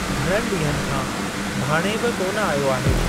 घणनि ॾींहनि खां भाण्हें बि कोन आयो आहे।